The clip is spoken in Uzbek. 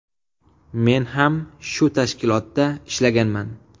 Men ham shu tashkilotda ishlaganman.